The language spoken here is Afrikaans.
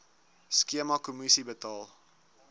skema kommissie betaal